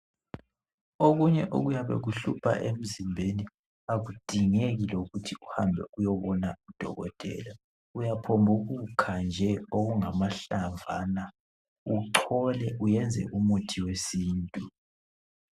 Okunye okuyabe kuhlupha emzimbeni akudingeki lokuthi uhambe uyebona udokotela. Uyaphonguthi kha nje okungamahlamvana uchole uyenze umuthi wesintu.